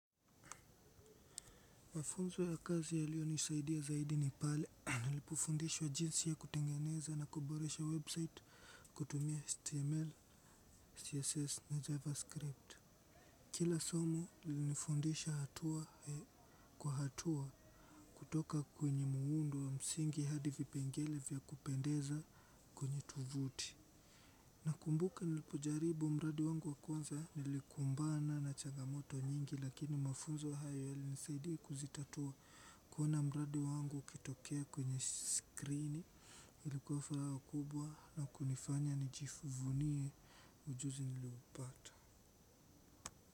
Mafunzo ya kazi ya liyo nisaidia zaidi ni pale, nilipofundishwa jinsi ya kutengeneza na kuboresha website kutumia HTML, CSS na javascript. Kila somo lilinifundisha hatua kwa hatua kutoka kwenye muundo wa msingi hadi vipengele vya kupendeza kwenye tovuti. Na kumbuka nilipojaribu mradi wangu wa kwanza nilikumbana na chagamoto nyingi lakini mafunzo hayo yalinisaidi kuzitatua kuona mradi wangu ukitokea kwenye screen ilikuwa furaha kubwa na kunifanya nijifuvunie ujuzi niliupata.